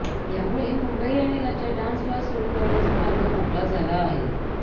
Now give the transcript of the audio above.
यामुळे मुंबई आणि राज्यात डान्सबार सुरु करण्याचा मार्ग मोकळा झाला आहे